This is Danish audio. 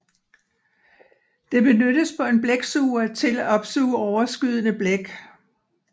Det benyttes på en blæksuger til at opsuge overskydende blæk